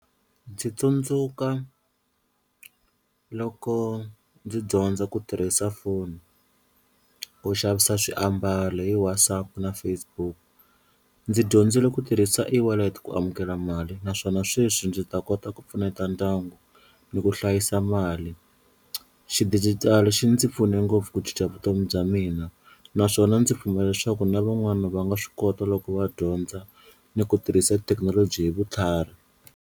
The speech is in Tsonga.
Ndzi tsundzuka loko ndzi dyondza ku tirhisa foni ku xavisa swiambalo hi WhatsApp na Facebook, ndzi dyondzile ku tirhisa eWallet ku amukela mali naswona sweswi ndzi ta kota ku pfuneta ndyangu ni ku hlayisa mali xidijitali xi ndzi pfune ngopfu ku cinca vutomi bya mina naswona ndzi pfumela leswaku na van'wani va nga swi kota loko va dyondza ni ku tirhisa thekinoloji hi vutlhari.